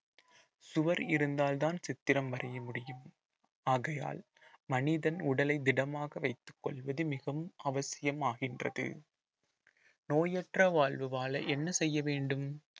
சுவர் இருந்தால்தான் சித்திரம் வரைய முடியும் ஆகையால் மனிதன் உடலை திடமாக வைத்துக் கொள்வது மிகவும் அவசியமாகின்றது நோயற்ற வாழ்வு வாழ என்ன செய்ய வேண்டும்